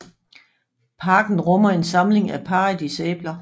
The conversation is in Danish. Parken rummer en samling af paradisæbler